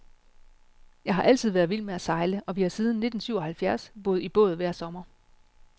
Jeg har altid været vild med at sejle, og vi har siden nittensyvoghalvfjerds boet i båd hver sommer.